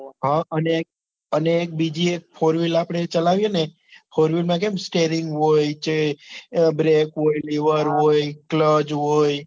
હા અને અને બીજી એક four wheel આપડે ચલાવીએ ને four wheel માં કેમ stairing હોય જે brack હોય lever હોય cluch હોય